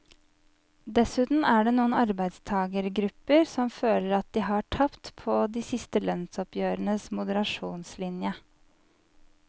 Dessuten er det noen arbeidstagergrupper som føler at de har tapt på de siste lønnsoppgjørenes moderasjonslinje.